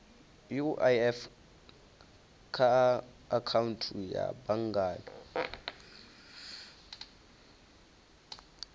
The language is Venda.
uif kha akhaunthu ya banngani